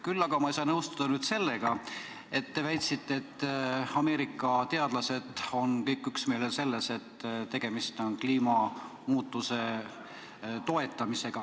Küll aga ei saa ma nõustuda teie väitega, et Ameerika teadlased on kõik üksmeelel selles, et tegemist on kliimamuutusega.